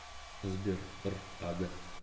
сбер р ага